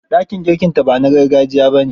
Dakin girkinta ba na gargajiya ba ne.